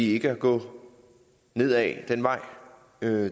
ikke at gå ned ad den vej det